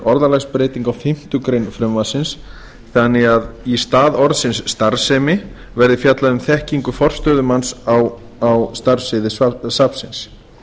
orðalagsbreyting á fimmtu grein frumvarpsins þannig að í stað orðsins starfsemi verði fjallað um þekkingu forstöðumanns á starfssviði safnsins